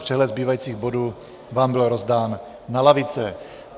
Přehled zbývajících bodů vám byl rozdán na lavice.